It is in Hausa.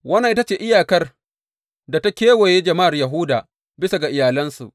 Wannan ita ce iyakar da ta kewaye jama’ar Yahuda bisa ga iyalansu.